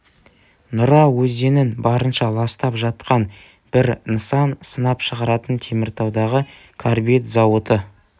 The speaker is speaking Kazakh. нұра өзенін барынша ластап жатқан бір нысан сынап шығаратын теміртаудағы карбид зауыты